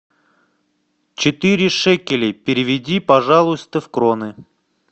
четыре шекелей переведи пожалуйста в кроны